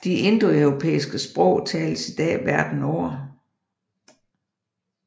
De indoeuropæiske sprog tales i dag verden over